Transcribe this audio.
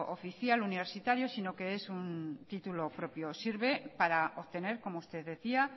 oficial universitario sino que es un título propio sirve para obtener como usted decía